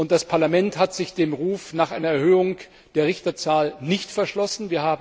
Das Parlament hat sich dem Ruf nach einer Erhöhung der Richterzahl nicht verschlossen.